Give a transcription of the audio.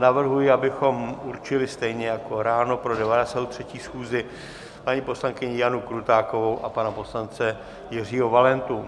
Navrhuji, abychom určili stejně jako ráno pro 93. schůzi paní poslankyni Janu Krutákovou a pana poslance Jiřího Valentu.